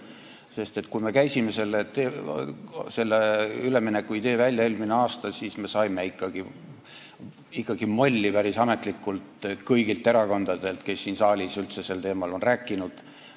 Sest kui me käisime eelmine aasta selle üleminekuidee välja, siis me saime ikkagi päris ametlikult molli kõigilt erakondadelt, kes siin saalis üldse sel teemal on rääkinud.